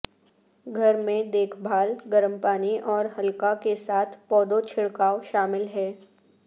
گھر میں دیکھ بھال گرم پانی اور ہلکا کے ساتھ پودوں چھڑکاو شامل ہے